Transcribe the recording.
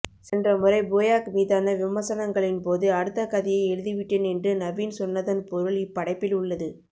சென்ற முறை போயாக் மீதான விமர்சனங்களின்போது அடுத்தகதையை எழுதிவிட்டேன் என்று நவீன் சொன்னதன் பொருள் இப்படைப்பில் உள்ளது